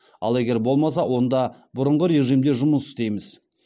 ал егер болмаса онда бұрынғы режимде жұмыс істейміз